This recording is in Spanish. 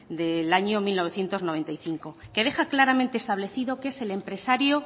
del año mil novecientos noventa y cinco que deja claramente establecido que es el empresario